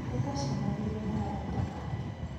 Nĩ twacemanirie na arata ake.